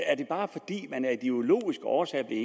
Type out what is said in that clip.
er det bare fordi man af ideologiske årsager er